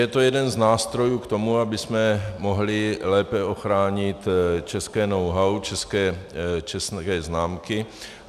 Je to jeden z nástrojů k tomu, abychom mohli lépe ochránit české know-how, české známky.